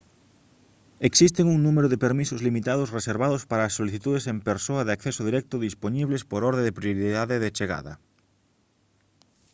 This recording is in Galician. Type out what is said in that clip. existen un número de permisos limitados reservados para as solicitudes en persoa de acceso directo dispoñibles por orde de prioridade de chegada